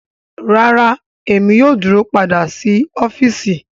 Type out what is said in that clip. Rara Emi yoo duro pada si ọfiisi